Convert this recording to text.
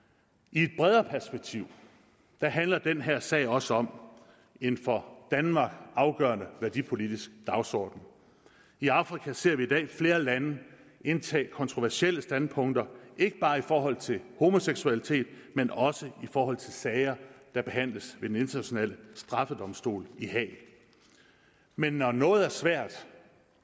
i et bredere perspektiv handler den her sag også om en for danmark afgørende værdipolitisk dagsorden i afrika ser vi i dag flere lande indtage kontroversielle standpunkter ikke bare i forhold til homoseksualitet men også i forhold til sager der behandles ved den internationale straffedomstol i haag men når noget er svært